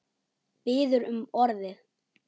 Biður um orðið.